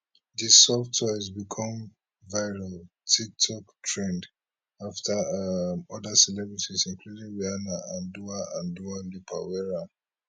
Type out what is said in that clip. di soft toys become viral tiktok trend after um oda celebrities including rihanna and dua and dua lipa wear am